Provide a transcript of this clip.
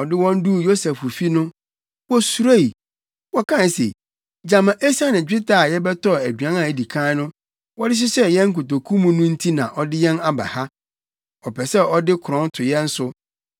Ɔde wɔn duu Yosef fi no, wosuroe. Wɔkae se, “Gyama esiane dwetɛ a yɛbɛtɔɔ aduan a edi kan no wɔde hyehyɛɛ yɛn nkotoku mu no nti na ɔde yɛn aba ha. Ɔpɛ sɛ ɔde korɔn to yɛn so,